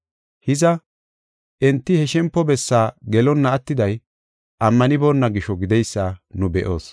Hiza, enti he shempo bessaa gelonna attiday ammanibona gisho, gideysa nu be7oos.